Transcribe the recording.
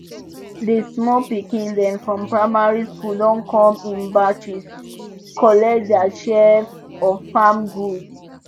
di small pikin dem from primary school don come in batches collect dia share of farm goods